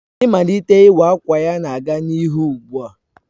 Mmalite iwa awka ya na-aga n'ihu ugbu a